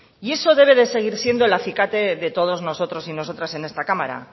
y eso debe seguir siendo el acicate de todos nosotros y nosotras en esta cámara